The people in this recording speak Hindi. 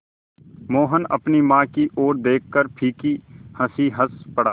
मोहन अपनी माँ की ओर देखकर फीकी हँसी हँस पड़ा